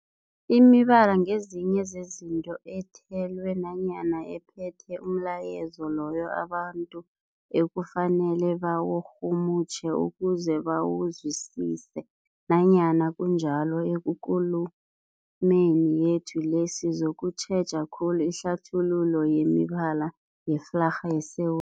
Imibala ngezinye zezinto ethelwe nanyana ephethe umlayezo loyo abantu ekufanele bawurhumutjhe ukuze bawuzwisise. Nanyana kunjalo, ekulumeni yethu le sizokutjheja khulu ihlathululo yemibala yeflarha yeSewu